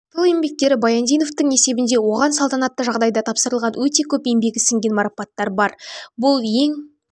тыл еңбеккері баяндиновтың есебінде оған салтанатты жағдайда тапсырылған өте көп еңбегі сіңген марапаттар бар бұл ең